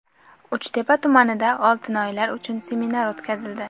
Uchtepa tumanida otinoyilar uchun seminar o‘tkazildi.